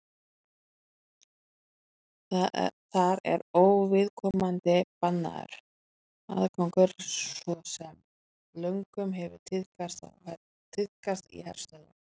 þar er óviðkomandi bannaður aðgangur svo sem löngum hefur tíðkast í herstöðvum